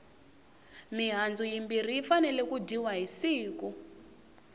mihandzu yimbirhi yi fanele ku dyiwa hi siku